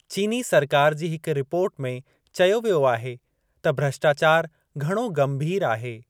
चीनी सरकारु जी हिक रिपोर्ट में चयो वियो आहे त भ्रष्टाचारु घणो गंभीरु आहे।